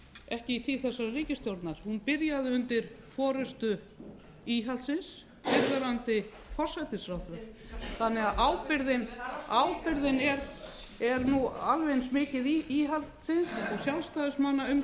ekki í tíð þessarar ríkisstjórnar hún byrjaði undir forustu íhaldsins fyrrverandi forsætisráðherra þannig að ábyrgðin er nú alveg eins mikil íhaldsins og sjálfstæðismanna um